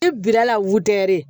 E birala wuttɛri